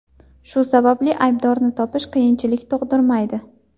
Shu sababli aybdorni topish qiyinchilik tug‘dirmaydi.